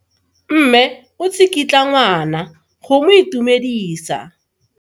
Mme o tsikitla ngwana go mo itumedisa.